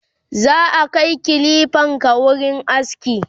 zaka Kai kilifanka wurin aski?